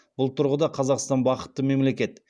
бұл тұрғыда қазақстан бақытты мемлекет